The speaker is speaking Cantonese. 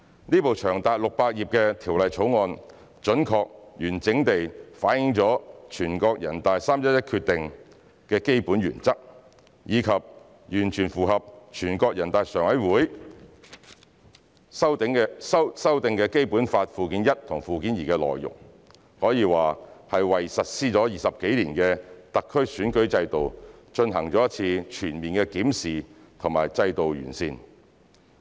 這部長達600頁的《條例草案》，準確及完整地反映了全國人大《決定》的基本原則，以及完全符合全國人民代表大會常務委員會修訂的《基本法》附件一和附件二的內容，可以說是為實施了20多年的特區選舉制度，進行一次全面的檢視和制度的完善。